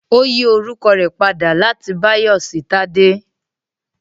Ó yí orúkọ rẹ̀ padà láti Báyọ̀ sí Tádé